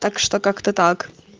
так что как-то так